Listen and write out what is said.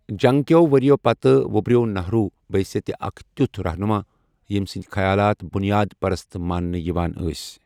جنگ كِیو٘ ورِیو پتہٕ وُبرِیو نہروُ بحثیتہِ اكھ تِیوٗتھ رہنما ییمہِ سٕندِ خیالات بُنیاد پرست ماننہٕ ایوان ٲسۍ ۔